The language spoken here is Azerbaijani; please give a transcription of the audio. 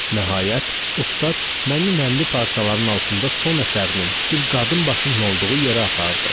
Nəhayət, ustad məni nəmli parçaların altında son əsərinin, bir qadın başının olduğu yerə apardı.